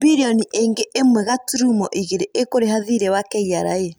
Mbirioni ĩngĩ ĩmwe gaturumo igĩrĩ ĩkũrĩha thirĩ wa KRA.